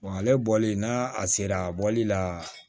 ale bɔli n'a a sera bɔli la